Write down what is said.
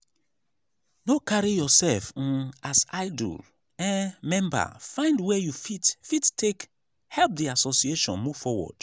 no carry yourself um as idle um member find where you fit fit take help the association move forward